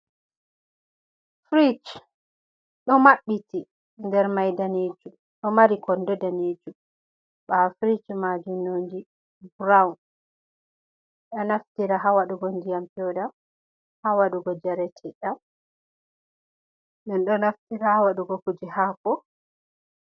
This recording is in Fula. Firich ɗo mabɓiti, nder mai danejum ɗon mari kondo danejum ɓawo firich mai nonde burawun, be ɗon naftira ha waɗugo ndiyam peuɗam, ha waɗugo njareteɗam ɓeɗo naftira ha waɗugo kuje hako.